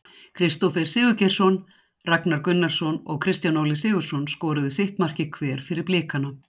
Kristófer Sigurgeirsson, Ragnar Gunnarsson og Kristján Óli Sigurðsson skoruðu sitt markið hver fyrir Blikana.